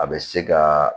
A bɛ se ka